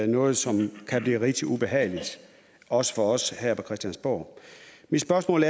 noget som kan blive rigtig ubehageligt også for os her på christiansborg mit spørgsmål